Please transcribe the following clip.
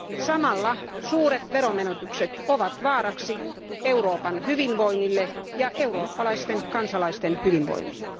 Samalla suuret veromenetykset ovat vaaraksi Euroopan hyvinvoinnille ja eurooppalaisten kansalaisten hyvinvoinnille.